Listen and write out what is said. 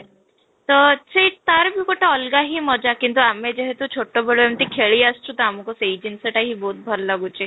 ତ ସେଇ ତା'ର ବି ଗୋଟେ ଅଲଗା ହିଁ ମଜା କିନ୍ତୁ ଆମେ ଯେହେତୁ ଛୋଟେ ବେଳେ ଏମିତି ଖେଳି ଆସିଛୁ ତ ଆମକୁ ସେହି ଜିନିଷ ଟା ହିଁ ବହୁତ ଭଲ ଲାଗୁଛି